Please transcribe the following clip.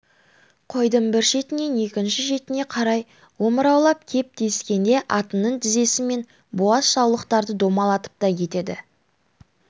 қойдың бір шетінен екінші шетіне қарай омыраулап кеп тиіскенде атының тізесімен буаз саулықтарды домалатып та кетеді